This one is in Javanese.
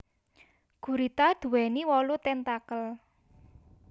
Gurita duwéni wolu tentakel